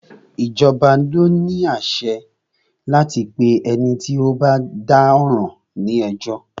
Ìjọba ni o ní àṣẹ láti pé ẹni tí o bá dá ọ̀ràn ní ẹjọ́.